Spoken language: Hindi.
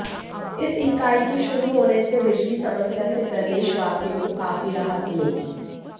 इस इकाई के शुरू होने से बिजली समस्या से प्रदेश वासियों को काफी राहत मिलेगी